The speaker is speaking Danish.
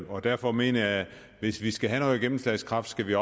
og derfor mener jeg at hvis vi skal have noget gennemslagskraft skal vi